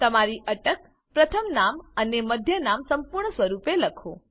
તમારી અટક પ્રથમ નામ અને મધ્ય નામ સંપૂર્ણ સ્વરૂપે લખો